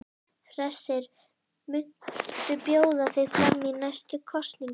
Hersir: Muntu bjóða þig fram í næstu kosningum?